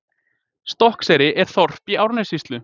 Stokkseyri er þorp í Árnessýslu.